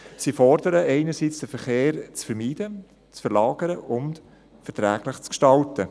Sie fordern einerseits, den Verkehr zu vermeiden, zu verlagern und verträglich zu gestalten.